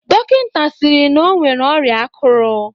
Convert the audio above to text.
Dọkịnta sịrị na o nwere ọrịa akụrụ.